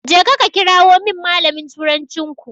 Jeka ka kirawo min malamin turancinku.